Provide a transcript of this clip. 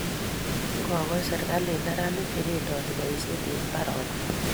Ngo koch serikalit neranik che bendoti boishet eng' mbaronik